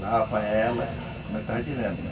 Lava ela, como eu estava dizendo, né?